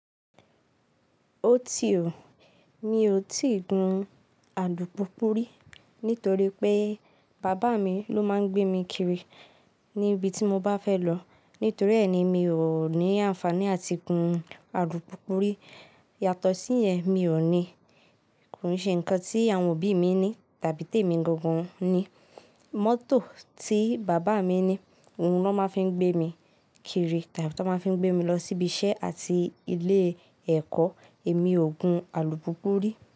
Ó ti o. Mi ò tíì gun alùpùpú rí, nítorí pé bàbá mi ló máa ń gbé mi kiri níbi tí mo bá fẹ́ lọ. Nítorí ẹni mi ò ní àǹfàní àti gun alùpùpù rí. Yàtọ̀ sí yẹn mi ò ní, kò ṣe nǹkan tí àwọn òbí mi ní tàbí tèmi gangan ni. Mọ́tò tí bàbá mi ní, òun ló máa ń fi gbé mi kiri tàbí tó máa ń fi gbé mi lọ síbi iṣẹ́ àti ilé ẹ̀kọ́. Èmi ò gun alùpùpù rí.